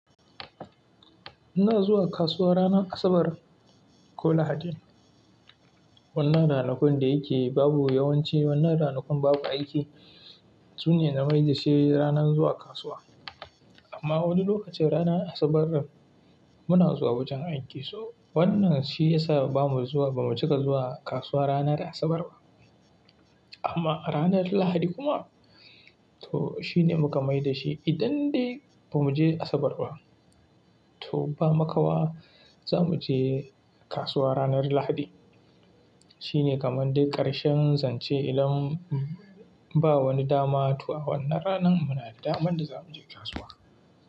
Muna zuwa kasuwa ranar Asabar ko Lahadi. Wannan ranakun da yake babu yawanci wannan ranakun babu aiki sune na mai da shi ranan zuwa kasuwa. Amma wasu lokacin ranar Asabar muna zuwa wajen aiki, so wannan shi yasa bamu zuwa, ba mu cika zuwa kasuwa ranar Asabar ba. Amma ranar Lahadi kuma to shi ne muka mai da shi. Idan dai ba mu je Asabar ba, to ba makawa ba za mu je kasuwa ranar Lahadi. Shi ne kamar dai ƙarshen zance idan ba wani dama to awannan ranan muna da daman da za mu je kasuwa.